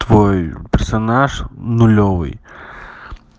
твой персонаж нулевой